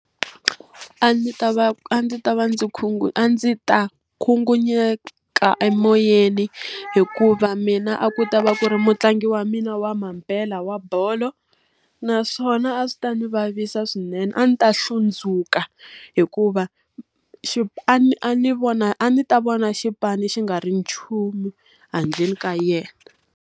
A ndzi ta va a ndzi ta va ndzi a ndzi ta khunguvanyekisa emoyeni hikuva mina a ku ta va ku ri mutlangi wa mina wa mampela wa bolo, naswona a swi ta ndzi vavisa swinene. A ni ta hlundzuka, hikuva xipano a ni vona a ndzi ta vona xipano xi nga ri nchumu handleni ka yena.